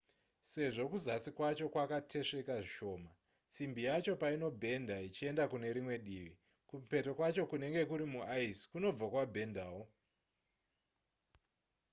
sezvo kuzasi kwacho kwakatesveka zvishoma simbi yacho painobhedha ichienda kune rimwe divi kumupeto kwacho kunenge kuri muice kunobva kwabhendawo